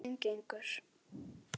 Á hverju sem gengur.